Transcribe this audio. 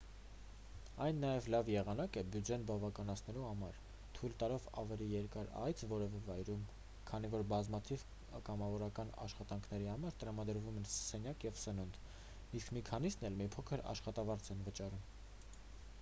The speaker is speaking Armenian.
այն նաև լավ եղանակ է բյուջեն բավականացնելու համար թույլ տալով ավելի երկար այց որևէ վայրում քանի որ բազմաթիվ կամավորական աշխատանքների համար տրամադրվում են սենյակ և սնունդ իսկ մի քանիսն էլ մի փոքր աշխատավարձ են վճարում